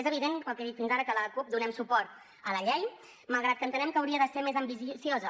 és evident pel que he dit fins ara que la cup donem suport a la llei malgrat que entenem que hauria de ser més ambiciosa